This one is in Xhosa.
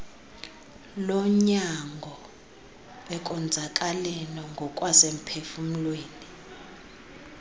lonyango ekonzakaleni ngokwasemphufumlweni